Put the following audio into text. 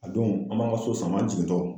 A don an b'an ka so sam'an jigintɔ